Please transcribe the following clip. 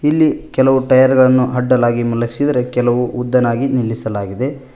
ಇಲ್ಲಿ ಕೆಲವು ಟಯರ್ ಗಳನ್ನು ಅಡ್ಡಲಾಗಿ ಮಲಗಸಿದ್ರೆ ಕೆಲವು ಉದ್ದನಾಗಿ ನಿಲ್ಲಿಸಿದೆ.